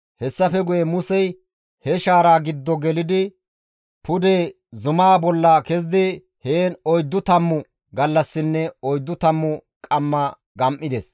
Hessafe guye Musey he shaaraa giddo gelidi pude zumaa bolla kezidi heen oyddu tammu gallassinne oyddu tammu qamma gam7ides.